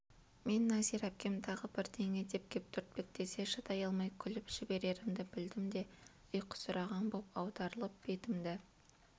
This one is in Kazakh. мен нәзира әпкем тағы бірдеңе деп кеп түртпектесе шыдай алмай күліп жіберерімді білдім де ұйқысыраған боп аударылып бетімді